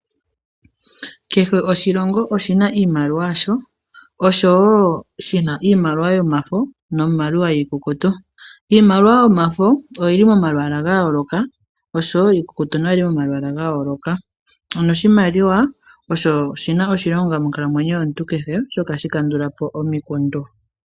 Kehe oshilongo oshi na iimaliwa yasho. Oshowo shi na iimaliwa yomafo niimaliwa iikukutu. Iimaliwa yomafo oyi li momalwaala ga yooloka, oshowo iikukutu oyi li momalwaala ga yooloka. Oshimaliwa osho shi na oshilonga monkalamwenyo yomuntu kehe, oshoka ohashi kandula po omikundu.